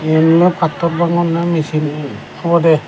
eyena pattor baagoney machine obodey.